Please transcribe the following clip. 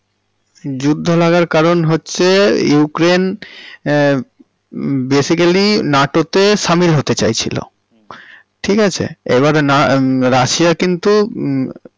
যুদ্ধ লাগার কারণ হচ্ছে ইউক্রেইন্ হেঃ basically নাটোতে সামিল হতে চাইছিলো। হুম। ঠিক আচ্ছা? এবারে না রাশিয়া কিন্তু হমম।